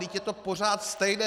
Vždyť je to pořád stejné.